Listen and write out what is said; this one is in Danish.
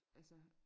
Altså